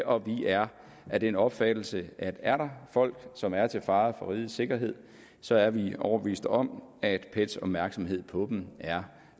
og vi er af den opfattelse at er der folk som er til fare for rigets sikkerhed så er vi overbevist om at pets opmærksomhed på dem er